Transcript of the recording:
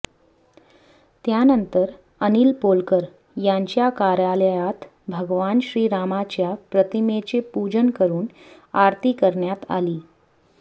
त्यानंतर अनिल पोलकर यांच्या कार्यालयात भगवान श्रीरामाच्या प्रतिमेचे पूजन करून आरती करण्यात आली